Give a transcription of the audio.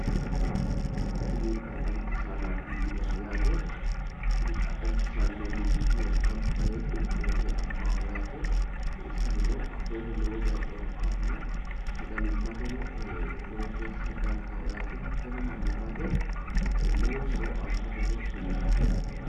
Kuni xaaxancho shaanaati yinayiiho yaate. Kuni xaaxanchu shaanino mimmituyiiwa ganba yee qunqumame afamaaho yaate. Kuni shaanino afooho lowo geya coommaahanna sagalimmateno lowo geeshsha danchaho yaate. Hattono mannimmate lowo horo aanno gede kullanni yaate.